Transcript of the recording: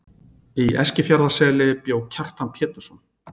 Í Eskifjarðarseli bjó Kjartan Pétursson.